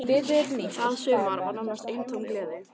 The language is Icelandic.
Það sumar var nánast eintóm gleði.